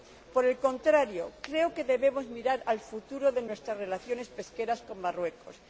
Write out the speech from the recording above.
Por el contrario, creo que debemos mirar al futuro de nuestras relaciones pesqueras con Marruecos.